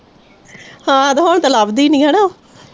ਹਾਂ ਤੇ ਹੁਣ ਤੇ ਲੱਭਦੀ ਨਹੀਂ ਹੇਨਾ ਉਹ